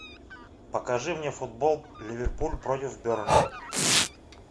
покажи мне футбол ливерпуль против бернли